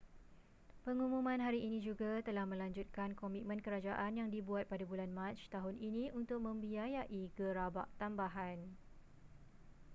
pengumuman hari ini juga telah melanjutkan komitmen kerajaan yang dibuat pada bulan mac tahun ini untuk membiayai gerabak tambahan